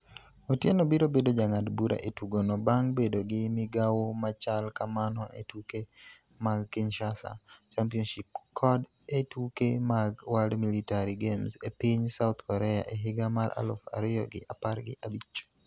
Otieno biro bedo jang'ad bura e tugono bang' bedo gi migawo machal kamano e tuke mag Kinshasa Championship kod e tuke mag World Military Games e piny South Korea e higa mar aluf ariyo gi apar gi abich.